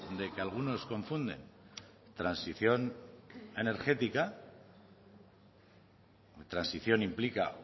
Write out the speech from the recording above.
de que algunos confunden transición energética transición implica